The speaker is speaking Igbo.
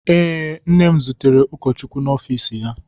Ee, nne m zutere ụkọchukwu n'ọfiisi ya.